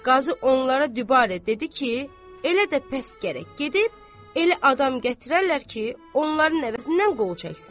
Qazı onlara dübarə dedi ki, elə də pəs gərək gedib elə adam gətirərlər ki, onların əvəzindən qol çəksin.